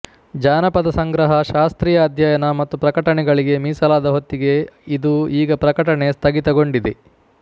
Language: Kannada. ಜಾನಪದ ಸಂಗ್ರಹ ಶಾಸ್ತ್ರೀಯ ಅಧ್ಯಯನ ಮತ್ತು ಪ್ರಕಟಣೆಗಳಿಗೆ ಮೀಸಲಾದ ಹೊತ್ತಿಗೆ ಇದು ಈಗ ಪ್ರಕಟಣೆ ಸ್ಥಗಿತಗೊಂಡಿದೆ